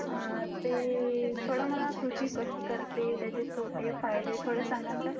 ते मला कृषी कशी करते त्याचे तोटे फायदे थोडा सांगणं का?